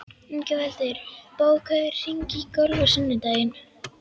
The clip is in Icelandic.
Ingveldur, bókaðu hring í golf á sunnudaginn.